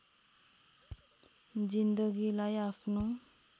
जिन्दगीलाई आफ्नो